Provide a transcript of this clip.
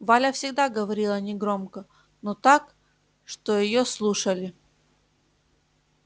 валя всегда говорила негромко но так что её слушали